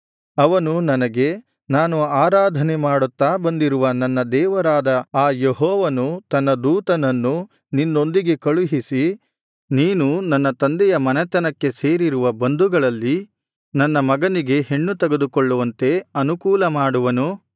ಅವನು ನನಗೆ ನಾನು ಆರಾಧನೆ ಮಾಡುತ್ತಾ ಬಂದಿರುವ ನನ್ನ ದೇವರಾದ ಆ ಯೆಹೋವನು ತನ್ನ ದೂತನನ್ನು ನಿನ್ನೊಂದಿಗೆ ಕಳುಹಿಸಿ ನೀನು ನನ್ನ ತಂದೆಯ ಮನೆತನಕ್ಕೆ ಸೇರಿರುವ ಬಂಧುಗಳಲ್ಲಿ ನನ್ನ ಮಗನಿಗೆ ಹೆಣ್ಣು ತೆಗೆದುಕೊಳ್ಳುವಂತೆ ಅನುಕೂಲ ಮಾಡುವನು